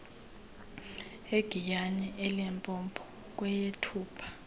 egiyani elimpopo kweyethupha